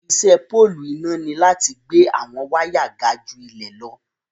Ìṣẹ pọ̀lụ́ iná ní láti gbẹ̀ awọn wàya gà ju ilẹ̀ lọ.